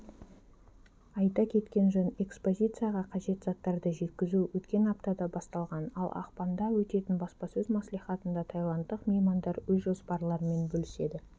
айта кеткен жөн экспозицияға қажет заттарды жеткізу өткен аптада басталған ал ақпанда өтетін баспасөз мслихатында таиландтық меймандар өз жоспарларымен бөліседі